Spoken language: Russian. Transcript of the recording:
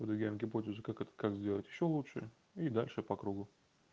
выдвигаем гипотезу как это как сделать ещё лучше и дальше по кругу